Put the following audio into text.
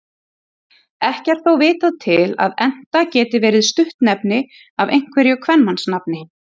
Ekki er þó vitað til að Enta geti verið stuttnefni af einhverju kvenmannsnafni.